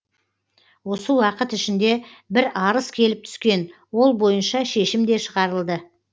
осы уақыт ішінде бір арыз келіп түскен ол бойынша шешім де шығарылды